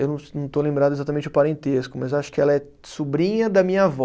Eu não es, não estou lembrado exatamente o parentesco, mas acho que ela é sobrinha da minha avó.